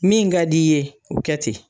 Min ka d'i ye, o kɛ ten.